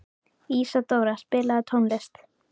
Ísadóra, spilaðu tónlist.